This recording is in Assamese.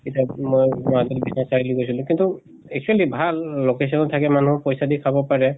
এতিয়া মই মাজতে বিস্বনাথ চাৰিআলি গৈছিলো কিন্তু actually ভাল location ত থাকে মানুহ, পইচা দি খাব পাৰে